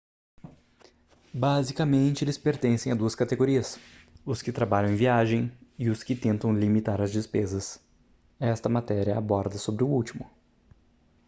basicamente eles pertencem a duas categorias os que trabalham em viagem e os que tentam limitar as despesas esta matéria aborda sobre o último